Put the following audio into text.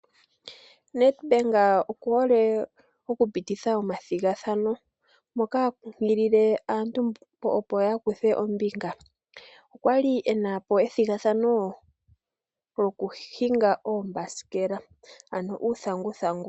Ned Bank okuhole okupititha omathigathano moka ha kunkilile aantu mboka opo ya kuthe ombinga. Okwali e napo ethigathano lyokuhinga oombasikela ano uuthanguthangu.